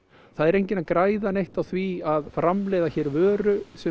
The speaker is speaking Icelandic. það er enginn að græða neitt á því að framleiða hér vöru sem